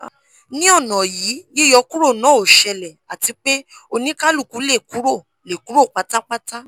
ni ọna yii yiyọ kuro na o sele ati pe onikaluku le kuro le kuro patapata